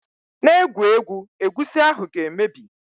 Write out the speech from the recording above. Just de play, the egusi soup wi soon spoil